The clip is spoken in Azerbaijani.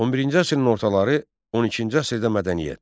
11-ci əsrin ortaları 12-ci əsrdə mədəniyyət.